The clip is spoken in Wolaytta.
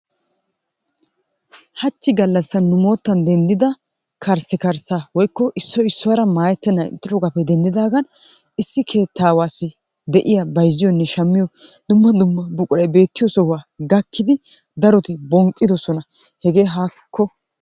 Hachchi gallassan nu moottan denddida karssikarssaa woykko Issoyi issuwara maayettennan ixxidoogaappe denddidaagan issi keettaawaassi de'iya bayzziyonne shammiyo dumma dumma buqurayi beettiyo sohuwa gakkidi daroti bonqqidosona hegee haakko.